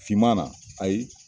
Fiman na, ayi.